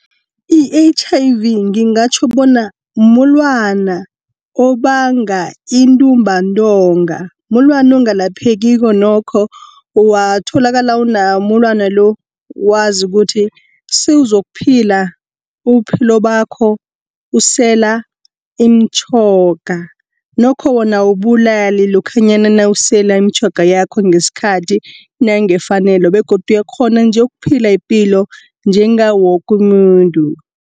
I-H_I_V ngingatjho bona mulwana obanga intumbantonga. Mulwana ongalaphekiko nokho, watholakala unawo umulwana lo, wazi kuthi sewuzokuphila ubuphilo bakho usela iimtjhoga. Nokho wona awubulali lokhanyana nawusela iimtjhoga yakho ngeskhathi nangefanelo begodu uyakghona nje ukuphila ipilo njengawo woke umuntu.